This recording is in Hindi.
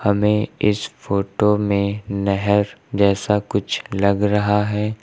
हमें इस फोटो में नहर जैसा कुछ लग रहा है।